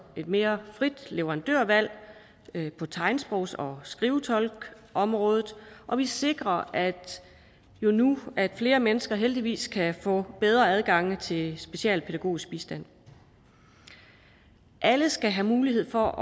mere frit leverandørvalg på tegnsprogs og skrivetolkeområdet og vi sikrer jo nu at flere mennesker heldigvis kan få bedre adgang til specialpædagogisk bistand alle skal have mulighed for